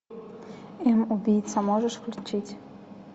фильм убийца можешь включить